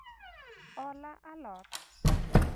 hola a lot